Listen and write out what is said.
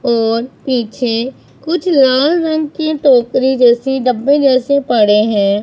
और पीछे कुछ लाल रंग की टोकरी जैसी डब्बे जैसे पड़े हैं।